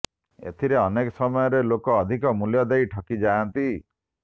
ଏଥିରେ ଅନେକ ସମୟରେ ଲୋକେ ଅଧିକ ମୂଲ୍ୟ ଦେଇ ଠକିଯାଆନ୍ତି